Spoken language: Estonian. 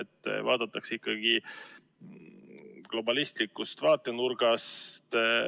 Seda vaadatakse ikkagi globalistlikust vaatenurgast.